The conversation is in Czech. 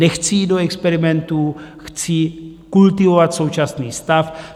Nechci jít do experimentů, chci kultivovat současný stav.